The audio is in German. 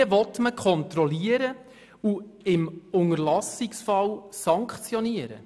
Wie will man Kontrollen und im Unterlassungsfall Sanktionen durchführen?